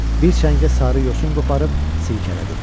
Bir çəngə sarı yosun qoparıb sirkələdi.